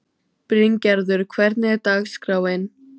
Bryngerður, hvernig er dagskráin?